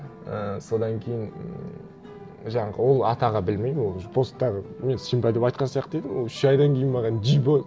і содан кейін ммм жаңағы ол атаға білмеймін ол уже посттағы мен симба деп айтқан сияқты едім ол үш айдан кейін маған джибо